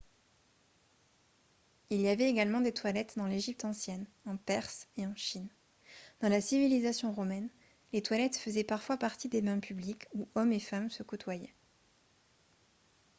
il y avait également des toilettes dans l'égypte ancienne en perse et en chine dans la civilisation romaine les toilettes faisaient parfois partie des bains publics où hommes et femmes se côtoyaient